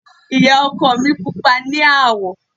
Ìyá ọkọ mi pupa ní àwọ̀.